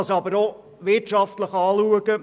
Man kann es aber auch wirtschaftlich betrachten.